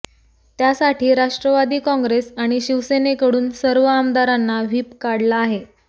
त्यासाठी राष्ट्रवादी काँग्रेस आणि शिवसेनेकडून सर्व आमदारांना व्हिप काढला आहे